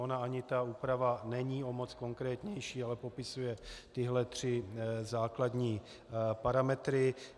Ona ani ta úprava není o moc konkrétnější, ale popisuje tyhle tři základní parametry.